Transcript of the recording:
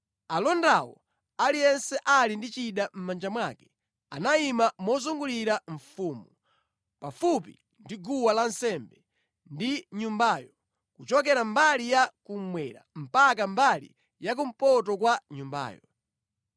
Alondawo, aliyense ali ndi chida mʼmanja mwake, anayima mozungulira mfumu, pafupi ndi guwa lansembe ndi nyumbayo, kuchokera mbali ya kummwera mpaka mbali ya kumpoto kwa nyumbayo.